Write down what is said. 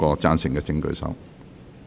贊成的請舉手。